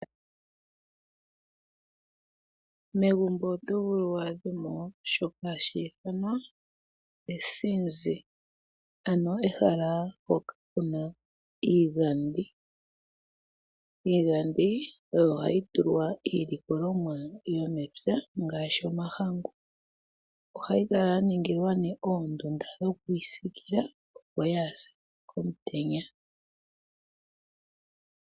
Megumbo oto adha mo shoka hashi ithanwa esinzi mpoka puna iigadhi. Iigadhi oyo hayi tulwa iilikolomwa yomepya ngaashi omahangu. Ohayi kala ya ningilwa oondunda, opo yaapye omutenya.